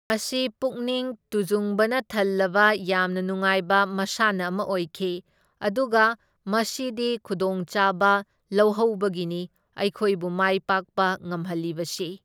ꯃꯁꯤ ꯄꯨꯛꯅꯤꯡ ꯇꯨꯖꯨꯡꯕꯅ ꯊꯜꯂꯕ ꯌꯥꯝꯅ ꯅꯨꯉꯥꯏꯕ ꯃꯁꯥꯟꯅ ꯑꯃ ꯑꯣꯏꯈꯤ ꯑꯗꯨꯒ ꯃꯁꯤꯗꯤ ꯈꯨꯗꯣꯡꯆꯥꯕ ꯂꯧꯍꯧꯕꯒꯤꯅꯤ ꯑꯩꯈꯣꯏꯕꯨ ꯃꯥꯏꯄꯥꯛꯄ ꯉꯝꯍꯜꯂꯤꯕꯁꯤ꯫